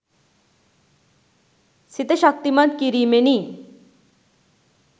සිත ශක්තිමත් කිරීමෙනි.